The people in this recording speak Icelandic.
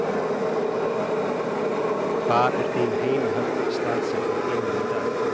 Hvar er þín heimahöfn staðsett í heiminum í dag?